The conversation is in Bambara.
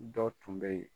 Dɔ tun bɛ yen